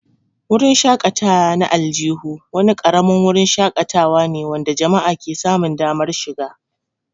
Wurin shakatawa na aljihu wani ƙaramin wurin shakatawa ne wanda jama'a ke samun damar shiga.